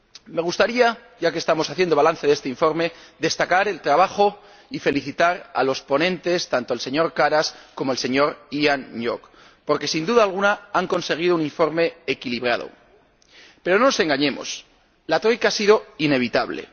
Me gustaría —ya que estamos haciendo balance de este informe— destacar el trabajo de los ponentes y felicitarles, tanto al señor Karas como al señor Hoang Ngoc, porque sin duda alguna han conseguido un informe equilibrado. Pero no nos engañemos, la Troika ha sido inevitable.